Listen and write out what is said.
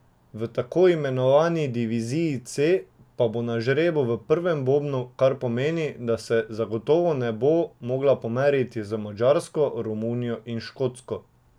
V tako imenovani diviziji C bo na žrebu v prvem bobnu, kar pomeni, da se zagotovo ne bo mogla pomeriti z Madžarsko, Romunijo in Škotsko.